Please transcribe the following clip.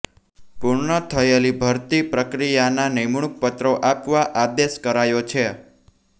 પૂર્ણ થયેલી ભરતી પ્રક્રિયાના નિમણૂક પત્રો આપવા આદેશ કરાયો છે